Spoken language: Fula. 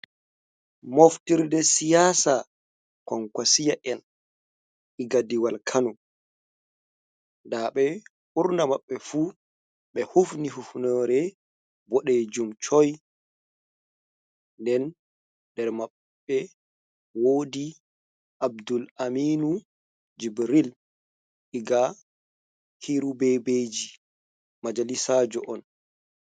Moftirɗe siyasa konkasiya en iga ɗiwal kanu da be burna maɓɓe fu ɓe hufni hufnore bodejum choi den nder maɓbe wodi abdul aminu jibril diga kirubebeji majalisajo on.